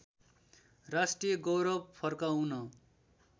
राष्ट्रिय गौरव फर्काउन